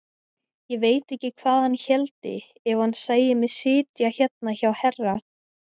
Ég veit ekki hvað hann héldi ef hann sæi mig sitja hérna hjá herra!